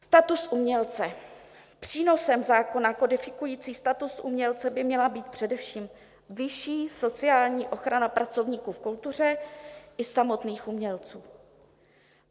Status umělce: přínosem zákona kodifikujícího status umělce by měla být především vyšší sociální ochrana pracovníků v kultuře i samotných umělců.